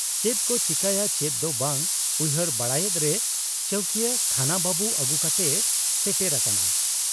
ᱪᱮᱫᱠᱚ ᱪᱤᱠᱟᱹᱭᱟ ᱪᱮᱫ ᱫᱚ ᱵᱟᱝ ᱩᱭᱦᱟᱹᱨ ᱵᱟᱲᱟᱭᱮᱫᱨᱮ ᱪᱟᱹᱣᱠᱤᱭᱟᱹ ᱛᱷᱟᱱᱟ ᱵᱟᱹᱵᱩ ᱟᱹᱜᱩ ᱠᱟᱛᱮᱭ ᱥᱮᱴᱮᱨ ᱟᱠᱟᱱᱟ ᱾